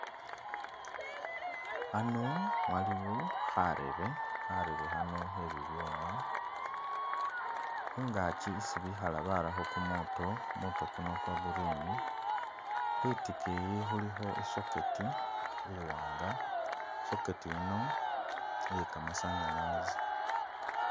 Ano waliwo kharebe, kharebe khano khebibyuma khungaaki esi bekhala barakho kumuto, kumuto kuno kwa'green khwitikiyi khulikho i'socket iwanga i'socket yiino iye kamasanyalasi